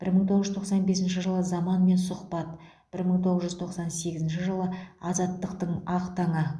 бір мың тоғыз жүз тоқсан бесінші жылы заманмен сұхбат бір мың тоғыз жүз тоқсан сегізінші жылы азаттықтың ақ таңы